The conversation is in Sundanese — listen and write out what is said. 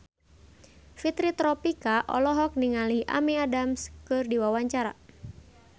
Fitri Tropika olohok ningali Amy Adams keur diwawancara